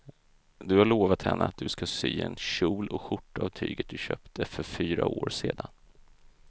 Du har lovat henne att du ska sy en kjol och skjorta av tyget du köpte för fyra år sedan.